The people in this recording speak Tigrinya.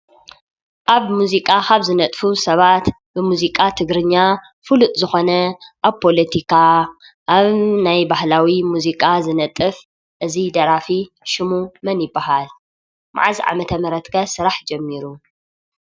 ኣብ ሙዚቃ ካብ ዝነጥፉ ሰባት ብሙዚቃ ትግርኛ ፉሉጥ ዝኾነ ኣብ ፖሎቲካ፣ ኣብ ናይ ባህላዊ ሙዚቃ ዝነጥፍ እዚ ደራፊ ሽሙ መን ይበሃል? መዓዝ ዓመተ ምህረት ከ ስራሕ ጀሚሩ?